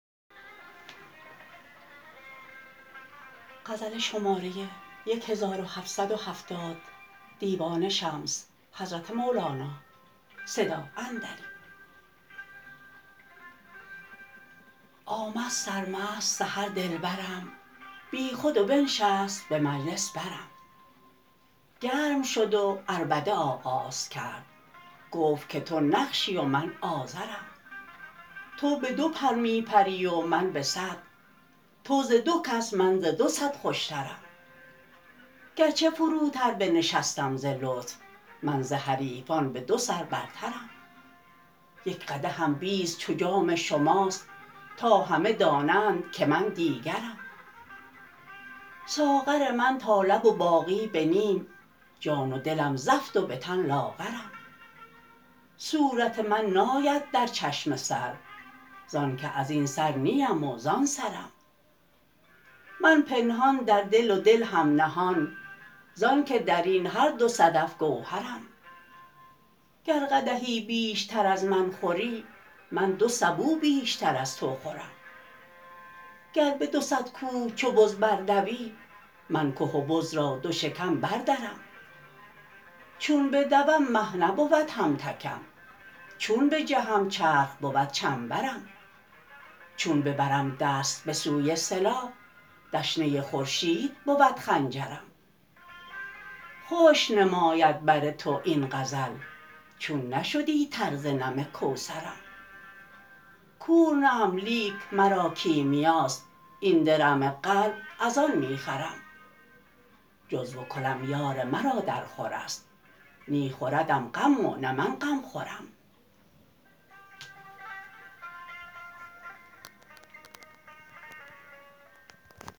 آمد سرمست سحر دلبرم بیخود و بنشست به مجلس برم گرم شد و عربده آغاز کرد گفت که تو نقشی و من آزرم تو به دو پر می پری و من به صد تو ز دو کس من ز دو صد خوشترم گرچه فروتر بنشستم ز لطف من ز حریفان به دو سر برترم یک قدحم بیست چو جام شماست تا همه دانند که من دیگرم ساغر من تا لب و باقی به نیم جان و دلم زفت و به تن لاغرم صورت من ناید در چشم سر زان که از این سر نیم و زان سرم من پنهان در دل و دل هم نهان زانک در این هر دو صدف گوهرم گر قدحی بیشتر از من خوری من دو سبو بیشتر از تو خورم گر به دو صد کوه چو بز بردوی من که و بز را دو شکم بردرم چون بدوم مه نبود همتکم چون بجهم چرخ بود چنبرم چون ببرم دست به سوی سلاح دشنه خورشید بود خنجرم خشک نماید بر تو این غزل چون نشدی تر ز نم کوثرم کور نه ام لیک مرا کیمیاست این درم قلب از آن می خرم جزو و کلم یار مرا درخور است نی خوردم غم و نه من غم خورم